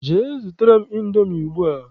Jee zụtara m Indomi ugbua!